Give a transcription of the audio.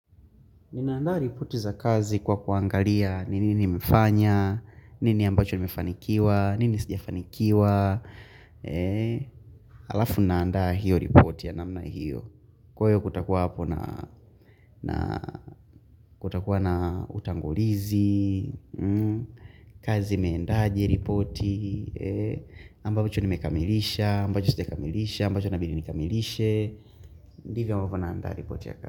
Ninaandaa ripoti za kazi kwa kuangalia nini nimefanya, nini ambacho nimefanikiwa, nini sijafanikiwa. Halafu naandaa hiyo ripoti ya namna hiyo. Kwa hiyo kutakuwa na utangulizi, kazi imeendaje ripoti, ambacho nimekamilisha, ambacho sijakamilisha, ambacho inabidi nikamilishe. Ndivyo ambavyo naandaa ripoti ya kazi.